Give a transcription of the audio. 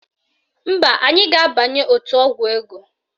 Mba, anyị ga-abanye otu ọgwụ ego